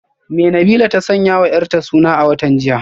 Me Nabilah ta sanyawa yarta suna a watan jiya?